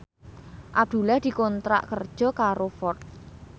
Abdullah dikontrak kerja karo Ford